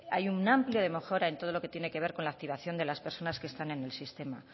hay un amplio de mejora en todo lo que tiene que ver con la activación de las personas que están en el sistema